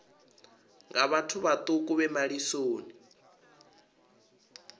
nga vhathu vhaṱuku vhe malisoni